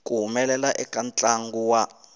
ku humelela eka ntlangu wa